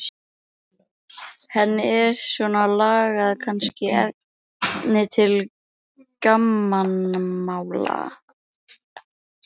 Henni er svona lagað kannski efni til gamanmála.